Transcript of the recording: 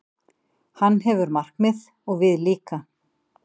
Hann hefur markmið, og við líka.